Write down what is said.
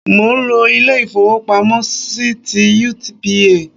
Mò n lo Ilé ìfowópamọ́ sí ti UBA